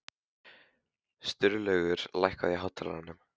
Sturlaugur, lækkaðu í hátalaranum.